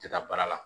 Tɛ taa baara la